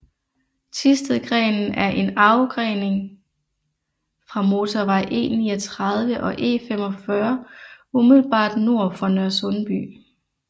Thistedgrenen er en afgrening fra motorvej E39 og E45 umiddelbart nord for Nørresundby